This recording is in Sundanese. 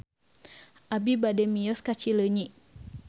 Abi bade mios ka Cileunyi